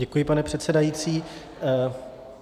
Děkuji, pane předsedající.